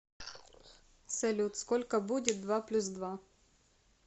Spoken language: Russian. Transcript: салют сколько будет два плюс два